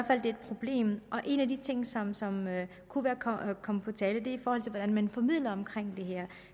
at det er et problem en af de ting som som kunne være kommet kommet på tale er hvordan man formidler det her